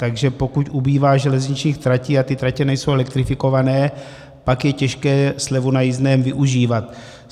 Takže pokud ubývá železničních tratí a ty tratě nejsou elektrifikované, pak je těžké slevu na jízdném využívat.